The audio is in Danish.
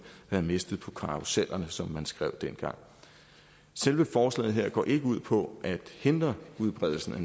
var mistet på karussellerne som man skrev dengang selve forslaget her går ikke ud på at hindre udbredelsen af